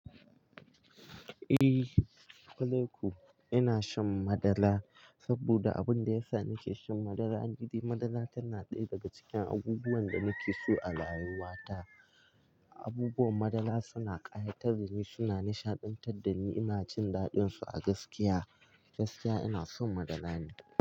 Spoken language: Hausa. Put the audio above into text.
Eh, kulaku ina shan madara saboda abin da yasa nake shan madara gidi madara tana ɗaya daga cikin abubuwan da nake so a rayuwata. Abubuwan madara suna ƙayatar da ni, suna nishaɗantar da ni. Ina jin daɗinsu a gaskiya. Gaskiya ina son madara ne.